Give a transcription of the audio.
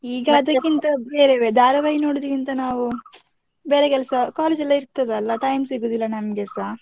ಈಗ ಅದಕ್ಕಿಂತ ಬೇರೆವೇ, ಧಾರಾವಾಹಿ ನೋಡುದಕ್ಕಿಂತ ನಾವು, ಬೇರೆ ಕೆಲ್ಸ college ಎಲ್ಲ ಇರ್ತದಲ್ಲ, time ಸಿಗುದಿಲ್ಲ ನಮ್ಗೆಸ.